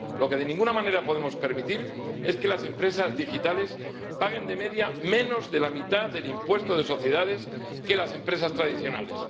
Lo que de ninguna manera podemos permitir es que las empresas digitales paguen de media menos de la mitad del impuesto de sociedades que las empresas tradicionales.